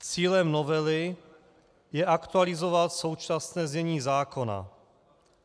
Cílem novely je aktualizovat současné znění zákona.